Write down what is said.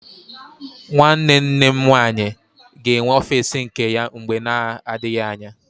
Nwanne nne m nwaanyị ga-enwe ọfiisi nke ya mgbe na-adịghị anya.